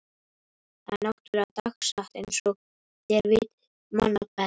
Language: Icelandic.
Það er náttúrlega dagsatt einsog þér vitið manna best.